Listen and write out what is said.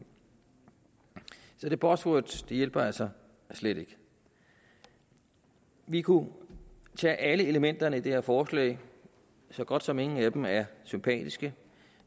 så det buzzword hjælper altså slet ikke vi kunne tage alle elementerne i det her forslag så godt som ingen af dem er sympatiske